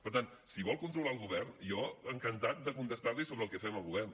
per tant si vol controlar el govern jo encantat de contestar li sobre el que fem al govern